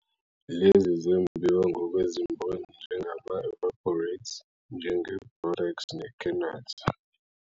Lezi zembiwa ngokwezimboni njengama-evaporites, njenge-borax ne-kernite.